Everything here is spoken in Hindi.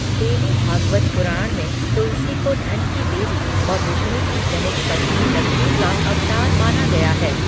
देवी भागवत पुराण में तुलसी को धन की देवी और विष्णु की प्रमुख पत्नी लक्ष्मी का अवतार माना गया है।